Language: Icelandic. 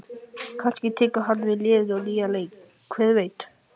Kannski tekur hann við liðinu á nýjan leik, hver veit?